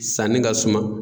Sanni ka suma.